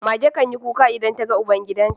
Mage can yi kuka idan ta ga ubangidan ta.